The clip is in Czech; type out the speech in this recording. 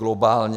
Globálně.